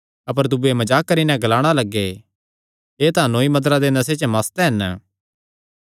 अपर दूये मजाक करी नैं ग्लाणा लग्गे एह़ तां नौईआ मदिरा दे नशे च मस्त हन